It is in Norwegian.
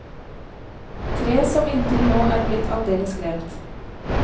Tre som inntil nå er blitt aldeles glemt.